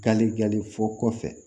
Garijɛgɛli fɔ kɔfɛ